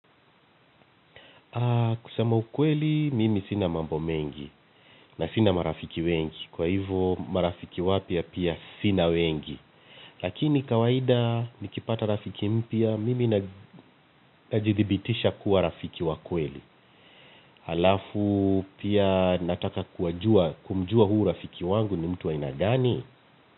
Kusema ukweli, mimi sina mambo mengi na sina marafiki wengi, kwa hivo marafiki wapya pia sina wengi. Lakini kawaida nikipata rafiki mpya mimi najidhibitisha kuwa rafiki wa kweli. Halafu pia nataka kumjua huyu rafiki wangu ni mtu wa aina gani.